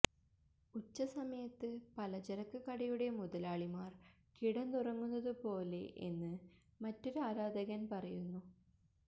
ഉച്ചസമയത്ത് പലചരക്ക് കടയുടെ മുതലാളിമാര് കിടന്നുറങ്ങുന്നതു പോലെ എന്ന് മറ്റൊരു ആരാധകന് പറയുന്നു